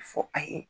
Fɔ a ye